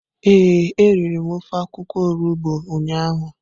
Ee, m riri ofe akwukwo olugbo ụnyahụ.